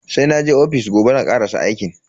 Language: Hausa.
Sai naje ofis gobe zan karasa aikin.